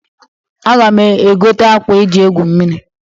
Aga m egota akwa e ji egwu mmiri.